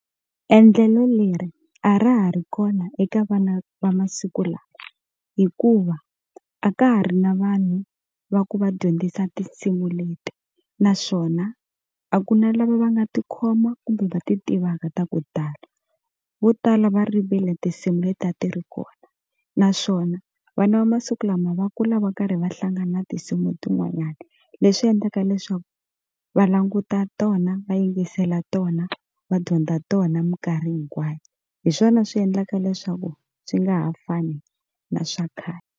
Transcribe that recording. Endlelo leri a ra ha ri kona eka vana va masiku lawa hikuva a ka ha ri na vanhu va ku va dyondzisa tinsimu leti naswona a ku na lava va nga tikhoma kumbe va ti tivaka ta ku tala vo tala va rivele tinsimu leti a ti ri kona naswona vana va masiku lama va kula va karhi va hlangana na tinsimu tin'wanyana leswi endlaka leswaku va languta tona va yingisela tona va dyondza tona mikarhi hinkwayo hi swona swi endlaka leswaku swi nga ha fani na swa khale.